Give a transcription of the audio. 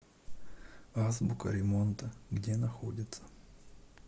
азбука ремонта где находится